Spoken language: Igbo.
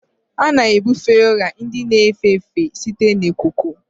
A na-ebufe ọrịa ndị a na-efe efe site na ikuku